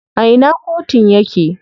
A ina kotun yake?